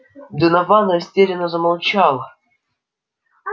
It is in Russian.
донован растерянно замолчал